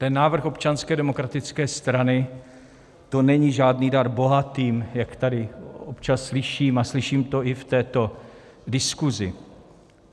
Ten návrh Občanské demokratické strany, to není žádný dar bohatým, jak tady občas slyším, a slyším to i v této diskuzi.